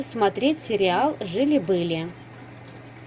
смотреть сериал жили были